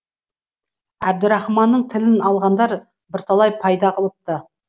әбдірахманның тілін алғандар бірталай пайда қылыпты